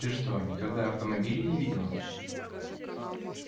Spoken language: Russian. ты что никогда автомобилей не видела